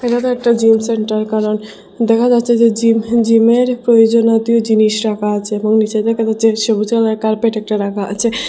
এটাতো একটা gym centre কারণ দেখা যাচ্ছে যে জিম ফিম জিমের প্রয়োজনীয়তিয় জিনিস রাখা আছে এবং নীচে দেখা যাচ্ছে সবুজ রঙের কার্পেট একটা রাখা আছে।